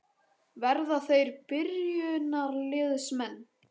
Verða þeir byrjunarliðsmenn?